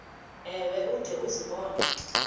ewe ude uzibone